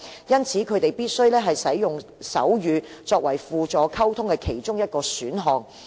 因此，他們必須使用手語作為其中一種輔助溝通工具。